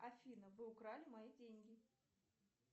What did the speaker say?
афина вы украли мои деньги